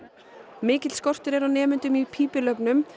mikill skortur er á nemendum í pípulögnum